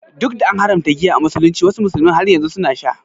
Duk da an haramta giya a musulunci, wasu musulmin har yanzu suna sha.